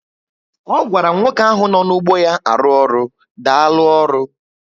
O gwara nwoke ahụ nọ nu ụgbọ ya arụ ọrụ, Daalu oru